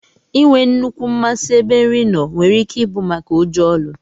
Inwee nnukwu masi ebe nri noo nwere ike ibu maka ụjọ ọlụ.